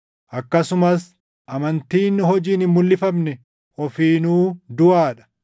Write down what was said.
Akkasumas amantiin hojiin hin mulʼifamne ofiinuu duʼaa dha.